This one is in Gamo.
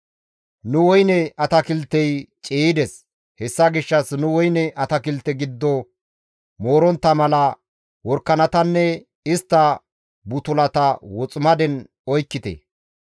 Nu woyne atakiltey ciiyides; hessa gishshas nu woyne atakilte giddo moorontta mala worakanatanne istta butulata woximaden oykkite.